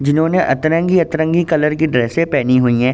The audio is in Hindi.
जिन्होंने अतरंगी-अतरंगी कलर की ड्रेसें पहनी हुई हैं।